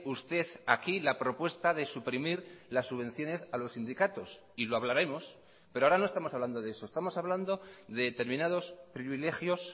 usted aquí la propuesta de suprimir las subvenciones a los sindicatos y lo hablaremos pero ahora no estamos hablando de eso estamos hablando de determinados privilegios